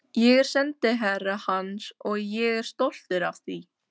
Ég er sendiherra hans og ég er stoltur af því.